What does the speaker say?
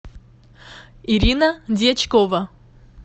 ирина дьячкова